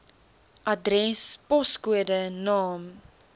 adres poskode naam